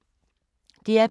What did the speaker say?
DR P2